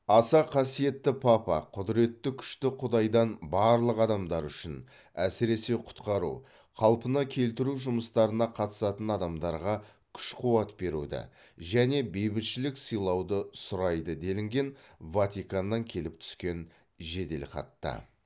аса қасиетті папа құдіреті күшті құдайдан барлық адамдар үшін әсіресе құтқару қалпына келтіру жұмыстарына қатысатын адамдарға күш қуат беруді және бейбітшілік сыйлауды сұрайды делінген ватиканнан келіп түскен жеделхатта